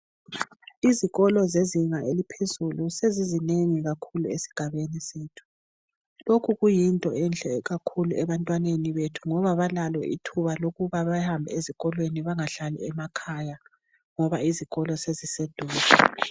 Izikolo zezinga eliphezulu sezinengi kakhulu esigabenithu lokhu kuyinto enhle kakhulu ebantwaneni bethu ngoba kalithuba lokuba behambe ezikolweni bengahlali emakhaya ngoba izikolo seziseduze